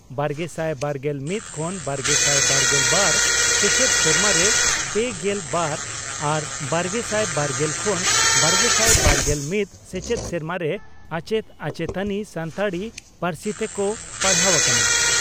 ᱵᱟᱨᱜᱮᱥᱟᱭ ᱵᱟᱨᱜᱮᱞ ᱢᱤᱛ ᱠᱷᱚᱱ ᱵᱟᱨᱜᱮᱥᱟᱭ ᱵᱟᱨᱜᱮᱞ ᱵᱟᱨ ᱥᱮᱪᱮᱫ ᱥᱮᱨᱢᱟᱨᱮ ᱯᱮᱜᱮᱞ ᱵᱟᱨ ᱟᱨ ᱵᱟᱨᱜᱮᱥᱟᱭ ᱵᱟᱨᱜᱮᱞ ᱠᱷᱚᱱ ᱵᱟᱨᱜᱮᱥᱟᱭ ᱵᱟᱨᱜᱮᱞ ᱢᱤᱛ ᱥᱮᱪᱮᱫ ᱥᱮᱨᱢᱟᱨᱮ ᱟᱪᱮᱛ ᱟᱪᱮᱛᱟᱱᱤ ᱥᱟᱱᱛᱟᱲᱤ ᱯᱟᱹᱨᱥᱤᱛᱮ ᱠᱚ ᱯᱟᱲᱦᱟᱣ ᱠᱟᱱᱟ ᱾